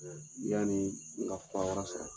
Ɛ yanni n ka fura wɛrɛ sɔrɔ